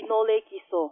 विनोले किसो